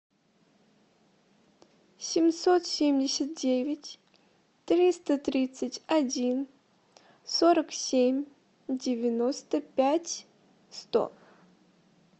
семьсот семьдесят девять триста тридцать один сорок семь девяносто пять сто